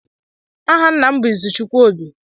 Aha ńnà m bụ Ịzụchukwu Óbì.